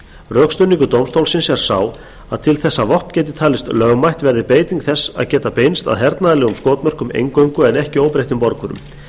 rökstuðningur dómstólsins er sá að til þess að vopn gæti talist lögmætt verði beiting þess að geta beinst að hernaðarlegum skotmörkum eingöngu en ekki óbreyttum borgurum